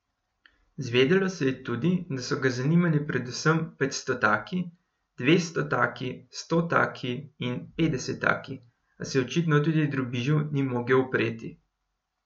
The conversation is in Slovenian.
Zvedelo se je tudi, da so ga zanimali predvsem petstotaki, dvestotaki, stotaki in petdesetaki, a se očitno tudi drobižu ni mogel upreti.